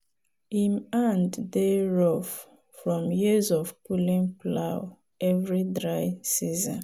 him hand dey rough from years of pulling plow every dry season.